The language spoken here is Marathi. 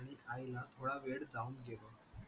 आणि आईला थोडा वेळ जाऊन